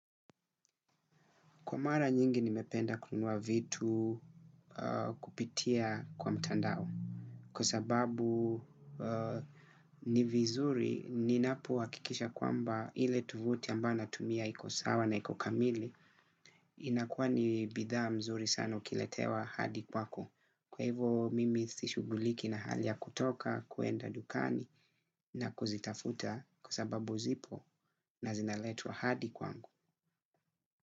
Kwa mara nyingi nimependa kununua vitu kupitia kwa mtandao. Kwa sababu ni vizuri ninapo hakikisha kwamba ile tovuti ambayo natumia iko sawa na iko kamili. Inakuwa ni bidhaa mzuri sana ukiletewa hadi kwako. Kwa hivo mimi sishughuliki na hali ya kutoka kwenda dukani na kuzitafuta. Kwa sababu zipo na zinaletwa hadi kwangu.